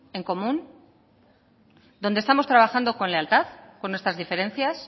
en común donde estamos trabajando con lealtad con nuestras diferencias